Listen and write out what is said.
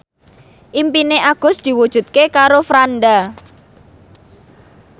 impine Agus diwujudke karo Franda